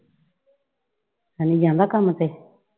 ਹਨੀ ਜਾਂਦਾ ਕੰਮ ਤੇ?